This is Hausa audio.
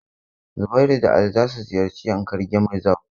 Zubairu da Ali za su ziyarci Yankari game reserve.